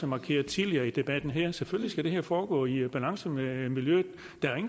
markeret tidligere i debatten her at selvfølgelig skal det foregå i balance med miljøet